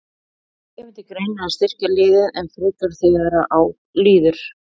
Kemur til greina að styrkja liðið enn frekar þegar á líður?